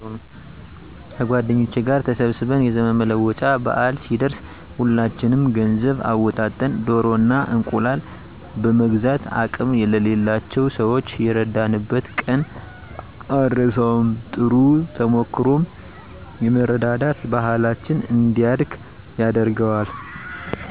ከጎደኞቸ ጋር ተሰብስበን የዘመን መለወጫ በአል ሲደረስ ሁላችንም ገንዘብ አወጣጠን ደኖ እና እንቁላል በመግዛት አቅም ለሌላቸው ሰዋች የረዳንበትን ቀን አረሳውም። ጥሩ ተሞክሮውም የመረዳዳት ባሕላችን እንዲያድግ ያደርገዋል።